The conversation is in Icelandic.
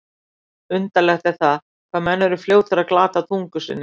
Undarlegt er það, hvað menn eru fljótir að glata tungu sinni.